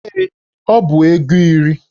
Ee, ọ bụ ego iri